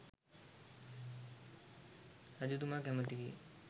රජතුමා කැමැති විය.